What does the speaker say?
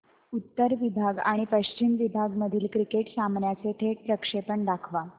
उत्तर विभाग आणि पश्चिम विभाग मधील क्रिकेट सामन्याचे थेट प्रक्षेपण दाखवा